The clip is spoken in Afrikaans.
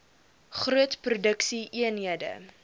groot produksie eenhede